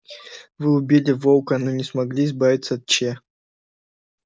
вы убили волка но не смогли избавиться от че